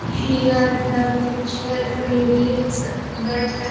Here the picture reveals that --